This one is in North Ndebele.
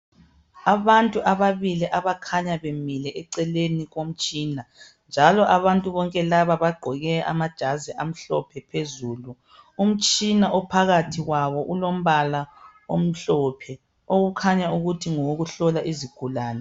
Abantu ababili abakhanya bemile eceleni komtshina, njalo bagqoke amajazi amhlophe phezulu. Umtshina ophakathi kwabo ulombala omhlophe, okhanya ukuthi ngowokuhlola izigulane.